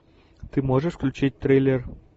ты можешь включить триллер